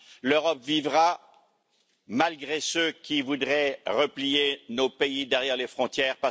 L'Europe vivra malgré ceux qui voudraient replier nos pays derrière les frontières.